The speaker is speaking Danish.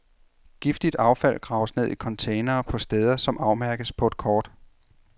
Giftigt affald graves ned i containere på steder, som afmærkes på et kort.